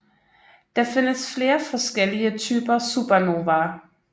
Der findes flere forskellige typer supernovaer